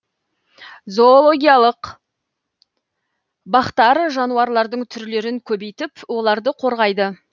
зоологиялық бақтар жануарлардың түрлерін көбейтіп оларды қорғайды